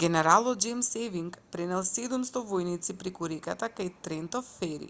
генералот џејмс евинг пренел 700 војници преку реката кај трентон фери